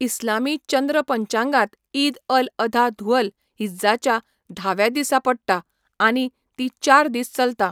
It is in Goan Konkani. इस्लामी चंद्र पंचांगांत ईद अल अधा धुअल हिज्जाच्या धाव्या दिसा पडटा आनी ती चार दीस चलता.